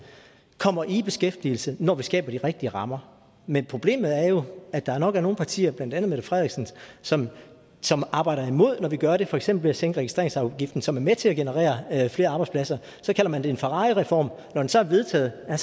kommer i beskæftigelse når vi skaber de rigtige rammer men problemet er jo at der er nogle partier blandt andet fru mette frederiksens som arbejder imod det når vi gør det for eksempel ved at sænke registreringsafgiften som er med til at generere flere arbejdspladser så kalder man det en ferrarireform og når den så er vedtaget er